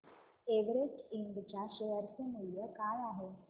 Everest Ind च्या share चे मूल्य काय आहे